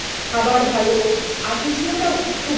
একেবারে sufficient ছিল সমস্ত খাবার